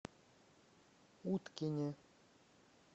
уткине